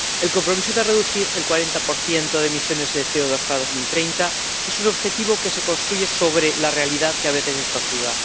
El compromiso de reducir el 40 de emisiones de CO2 para 2030 es un objetivo que se construye sobre la realidad, que a veces es tozuda.